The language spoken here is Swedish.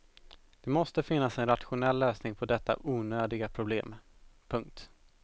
Det måste finnas en rationell lösning på detta onödiga problem. punkt